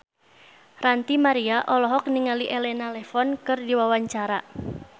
Ranty Maria olohok ningali Elena Levon keur diwawancara